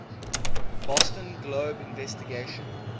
boston globe investigation